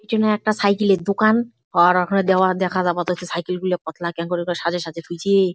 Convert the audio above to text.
পিছনে একটা সাইকেল -এর দোকান পা রাখা দেওয়ার দেখা আপাতত সাইকেল -গুলো পাতলা কেমন করে করে সাজিয়ে সাজিয়ে থুইছে ।